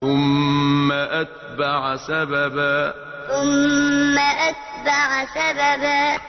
ثُمَّ أَتْبَعَ سَبَبًا ثُمَّ أَتْبَعَ سَبَبًا